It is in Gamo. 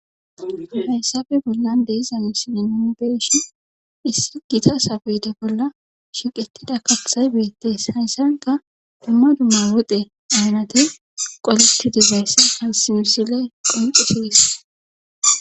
Hayssappe bollan diza misile nuuni be'ishi issi gita sapeta bolla shiiqetida katay beetees. hayssankka dumma dumma woxxe aynatte qoleti dizayssa hayssi misile qonccisside besees.